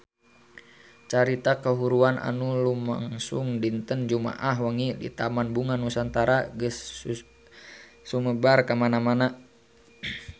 Carita kahuruan anu lumangsung dinten Jumaah wengi di Taman Bunga Nusantara geus sumebar kamana-mana